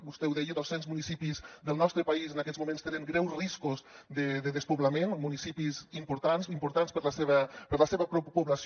vostè ho deia dos cents municipis del nostre país en aquests moments tenen greus riscos de despoblament municipis importants importants per a la seva població